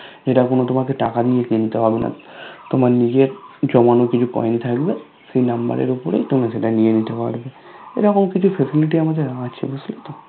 যেটা কোনো তোমাকে টাকা দিয়ে কিনতে হবেনা তোমার নিজের জমানো কিছু Coin থাকবে সেই Number এর উপরে তোমরা সেটা নিয়ে নিতে পারবে এরকম কিছু Facility আমাদের আছে বুঝলে তো